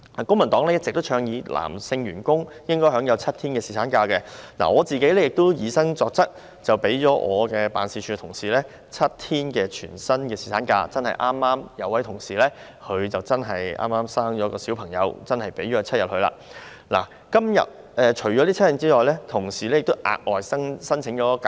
公民黨一直倡議男性員工應該享有7天侍產假，我本人亦以身作則，讓辦事處職員享有7天全薪侍產假，有一名職員的妻子剛巧生了小孩，所以我讓他放取7天侍產假，但除了這7天外，他亦額外申請假期。